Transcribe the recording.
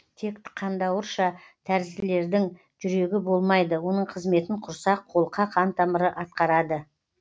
тек қандауырша тәрізділердің жүрегі болмайды оның қызметін құрсақ қолқа қантамыры атқарады